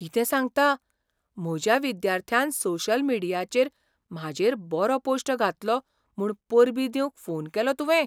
कितें सांगता? म्हज्या विद्यार्थ्यान सोशल मिडियाचेर म्हाजेर बरो पोश्ट घातलो म्हूण परबीं दिवंक फोन केलो तुवें!